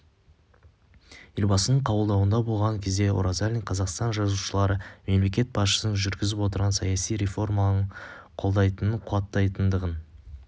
елбасының қабылдауында болған кезде оразалин қазақстан жазушылары мемлекет басшысының жүргізіп отырған саяси реформаларын қолдайтынын қуаттайтындығын